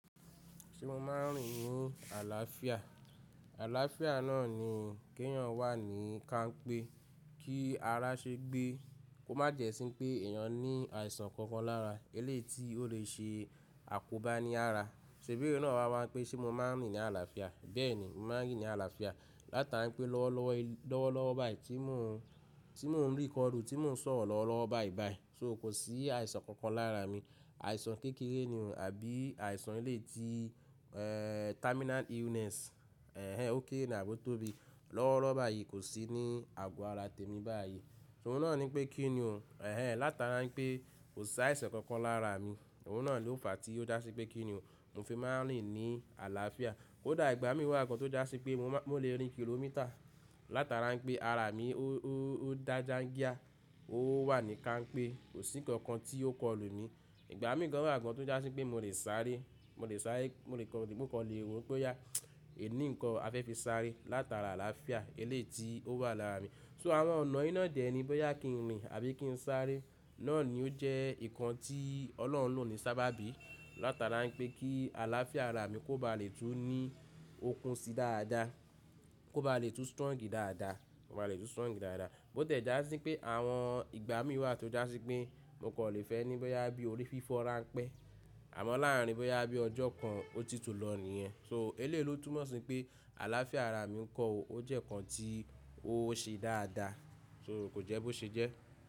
Ṣé mo máa ń rìn ní àlàáfíà? Àlàáfíà náà ni kí èèyàn wà ní ká ń pé kí ara ṣe gbé, kó má jẹ̀ ẹ́ sí pé èèyàn ní àìsàn kankan lára. Eléeti ó lè ṣe àkóbá ní ara. Ṣèbí èró náà wa wá pé ṣé mo máa ń rìn ní àlàáfíà? Bẹ́ẹ̀ ni, mo máa ń rìn ní àlàáfíà. Látara pé lọ́wọ́ lọ́wọ́ báyìí tí mo, tí mo ń record, tí mo ń sọ̀rọ̀ lọ́wọ́ báyìí báyìí, so kò sí àìsàn kankan lára mi. Àìsàn kékeré ni o, àbí àìsàn eléeti terminal illness, ẹ̀hen, ó kére ni, àbo tóbi. Lọ́wọ́ lọ́wọ́ báyìí kò sí ní àgọ́ ara tèmi báyìí. Ṣé òun náà ní pé kí ni o? Ẹ̀hen, látara pé kò sí àìsàn kankan lára mi, òun náà ló fàá tí ó dá sí pé kí ni o? Mo fi máa ń rìn ní àlàáfíà. Kódà ìgbà mí wà gan tó dá sí pé mo lè rìn kìlómítà látara pé ara mi ó dáa jáńgíá, ó wà ní ká ń pé kò sí nǹkan tí ó kọlù ni. Ìgbà mí gan wà gan tó dá sí pé mo lè sáré, mo lè sáré, mo kò le wò pé yá, è ní nǹkan a fẹ́ fi sáré látara àlàáfíà eléeti ó wà lára mi. So àwọn ọ̀nà iná dẹ̀ ni bóyá kí n rìn àbí kí n sáré, náà ni ó jẹ́ nǹkan tí Ọlọ́run lò ní sábàbí látara pé kí àlàáfíà ara mi kó ba lè tú ní okun sí dáadáa, kó ba lè tú strong dáadáa, kó ba lè tú strong dáadáa. Bó tẹ̀ já sí pé àwọn ìgbà mí wà tó dá sí pé mo kò lè fẹ́ ní bóyá bí orí fífọ́ rańpẹ́, àmọ́ láàárín bóyá bí ọjọ́ kan ó ti tú lọ nìyẹn. So eléè lo túmọ̀ sí pé àlàáfíà ara mi ńkọ́ o, ó jẹ́ nǹkan tí ó ṣe dáadáa, so kò jẹ́ bó ṣe jẹ́.